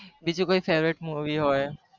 બીજું કય favourite movie હોય